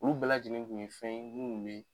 Olu bɛɛ lajɛlen kun ye fɛn ye munnu ye